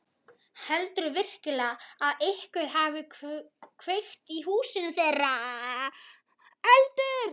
Heldurðu virkilega að einhver hafi kveikt í húsinu þeirra?